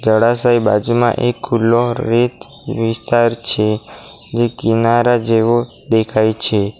જળાશયની બાજુમાં એક ખુલ્લો રેત વિસ્તાર છે જે કિનારા જેવો દેખાય છે.